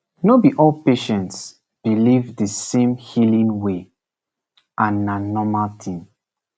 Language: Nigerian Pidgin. no be all patients believe the same healing way and na normal thing